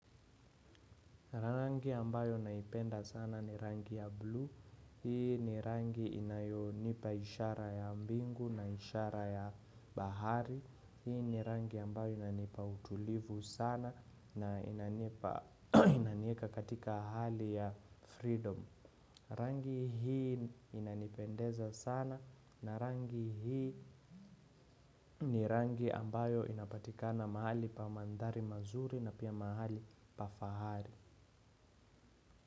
Rangi ambayo naipenda sana ni rangi ya blue, hii ni rangi inayonipa ishara ya mbingu na ishara ya bahari, hii ni rangi ambayo inanipa utulivu sana na inanieka katika hali ya freedom. Rangi hii inanipendeza sana na rangi hii ni rangi ambayo inapatikana mahali pa mandhari mazuri na pia mahali pa fahari.